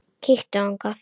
Kíktu þangað.